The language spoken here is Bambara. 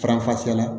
Faranfasiya